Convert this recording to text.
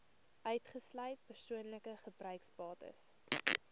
uitgesluit persoonlike gebruiksbates